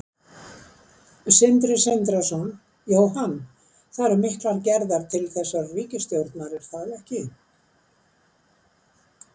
Sindri Sindrason: Jóhann, það eru miklar gerðar til þessarar ríkisstjórnar er það ekki?